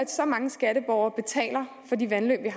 så mange skatteborgere betaler for de vandløb vi